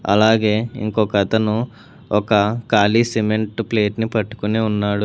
అలాగే ఇంకొకతను ఒక ఖాళీ సిమెంట్ ప్లేట్ని పట్టుకుని ఉన్నాడు.